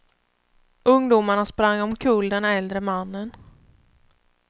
Ungdomarna sprang omkull den äldre mannen.